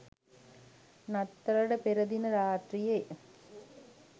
නත්තලට පෙර දින රාත්‍රියේ